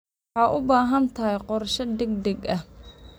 Waxaad u baahan tahay qorshe degdeg ah.